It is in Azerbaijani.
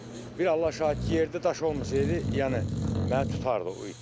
Bir Allah şahiddir, yerdə daş olmasaydı, yəni məni tutardı o it.